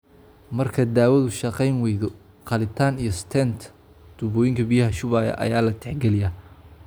Marka daawadu shaqayn waydo, qalitaan iyo stent (tubooyinka biyaha shubaya) ayaa la tixgeliyaa.